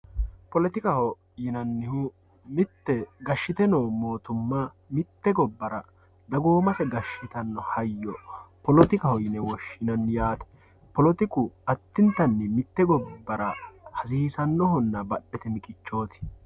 polettikaho yinannihu mite gashite noo mootumma mite gobbara dagoommasse gashitanno hayo politikaho yine woshinnanni yaatte politiku adintanni mite gobara hasisanohonna badhete miqqichoti.